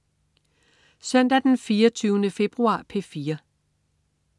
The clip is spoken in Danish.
Søndag den 24. februar - P4: